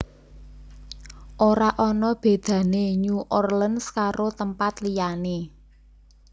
Ora ono bedane New Orleans karo tempat liyane